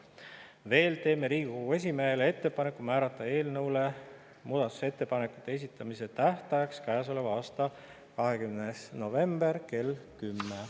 Veel teeme Riigikogu esimehele ettepaneku määrata eelnõu muudatusettepanekute esitamise tähtajaks käesoleva aasta 20. november kell 10.